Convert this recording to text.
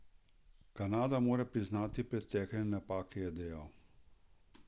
Kanada mora priznati pretekle napake, je dejal.